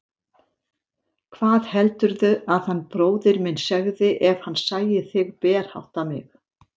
Hvað heldurðu að hann bróðir minn segði ef hann sæi þig berhátta mig?